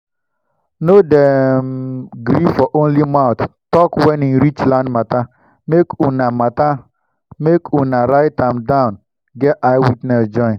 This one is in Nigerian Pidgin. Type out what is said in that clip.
nor dey um gree for only mouth talk wen e reach land mata make unah mata make unah write am down get eye witness join